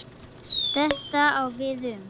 Þetta á við um